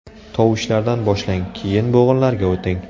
Tovushlardan boshlang, keyin bo‘g‘inlarga o‘ting.